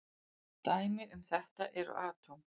Dæmi um þetta eru atóm.